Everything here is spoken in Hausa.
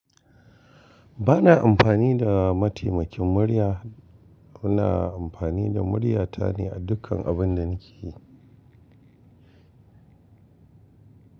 Ba na amfani da mataimakin murya, ina amfani da muryata ne a dukkan abun da nake yi.